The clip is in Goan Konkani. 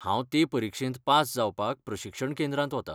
हांव ते परिक्षेंत पास जावपाक प्रशिक्षण केंद्रांत वतां.